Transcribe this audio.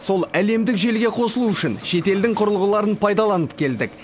сол әлемдік желіге қосылу үшін шетелдің құрылғыларын пайдаланып келдік